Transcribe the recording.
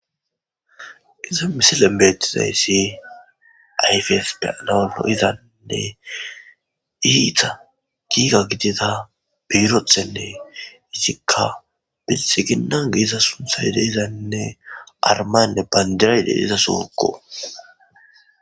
Iza misile beetizayssi ayfes peanaolo izanne iita giiga gidida beyrothenne izikka binxi ginnan giiza sunthay deizaynne armaynne bandirayde iza sookko.